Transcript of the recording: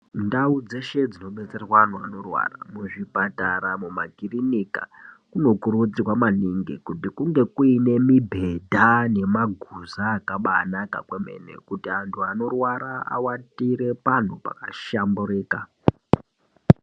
Ndau dzeshe dzinobetserwa anhu anorwara muzvipatara mumakirinika munokudzirwa maningi kuti kunge kune mibhedha ne maguza akaba anaka kwememen kuti anhu anorwara awatire panhu pakahlamburika.